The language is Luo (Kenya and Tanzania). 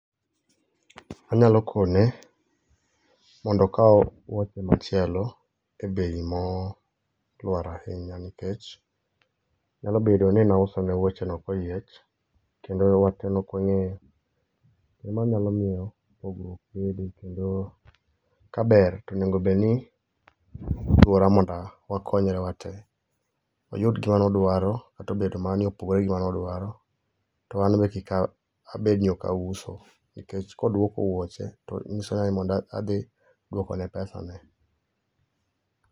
Anyalo kone, mondo okaw wuoche machielo, e bei molwar ahinya nikech, nyalo bedo ni nauso ne wuoche no koyiech, kendo wach no okwangéyo, emanyalo miyo pogruok bede. Kendo kaber to onego bedni mondo wakonyore watee. Oyud gima ne odwaro, kata obedo mana ni opogore gi mane odwaro, to anbe kik a abed ni ok auso. Nikech kodwoko wuoche, to nyiso ni mondo adhi duoko ne pesane